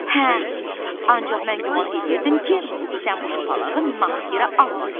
Hə, ancaq mən güman eləyirdim ki, sən bu şapalağı naq yerə almadın.